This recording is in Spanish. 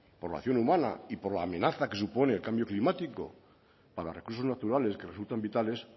por la acción humana y por la amenaza que supone el cambio climático para recursos naturales que resultan vitales